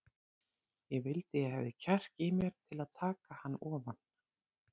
Ég vildi ég hefði kjark í mér til að taka hann ofan.